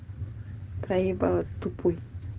проебала тупой